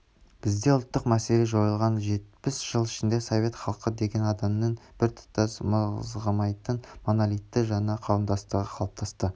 бізде ұлттық мәселе жойылған жетпіс жыл ішінде совет халқы деген адамдардың біртұтас мызғымайтын монолитті жаңа қауымдастығы қалыптасты